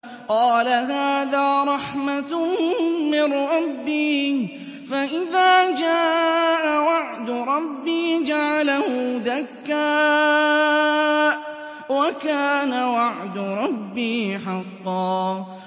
قَالَ هَٰذَا رَحْمَةٌ مِّن رَّبِّي ۖ فَإِذَا جَاءَ وَعْدُ رَبِّي جَعَلَهُ دَكَّاءَ ۖ وَكَانَ وَعْدُ رَبِّي حَقًّا